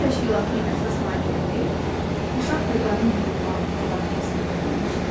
Bu təşkilatın əsas fəaliyyəti uşaq və qadın hüquqlarının müdafiəsinə yönəlmişdir.